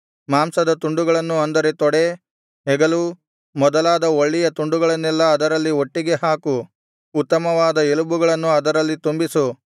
ಮಾಂಸದ ತುಂಡುಗಳನ್ನು ಅಂದರೆ ತೊಡೆ ಹೆಗಲು ಮೊದಲಾದ ಒಳ್ಳೆಯ ತುಂಡುಗಳನ್ನೆಲ್ಲಾ ಅದರಲ್ಲಿ ಒಟ್ಟಿಗೆ ಹಾಕು ಉತ್ತಮವಾದ ಎಲುಬುಗಳನ್ನು ಅದರಲ್ಲಿ ತುಂಬಿಸು